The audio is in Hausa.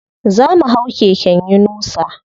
Zo mu hau keken yunusa.